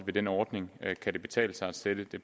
ved den ordning kan betale sig at sætte det